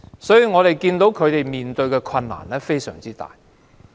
所以，她們面對的困難非常大。